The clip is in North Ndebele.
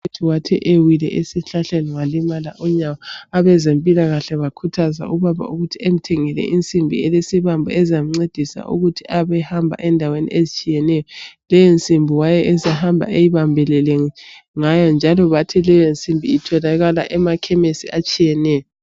Ubhudi wathi ewile esihlahleni ngalimala unyawo, abezempilakahle bakhuthaza ubaba ukuthi emthengele insimbi elesibambo ezamncedisa ukuba abe ehamba endaweni ezitshiyeneyo. Leyi nsimbi wayesehamba eyibambelele ngayo, njalo bathi leyo nsimbi itholaka emakhemesi atshiyeneyo.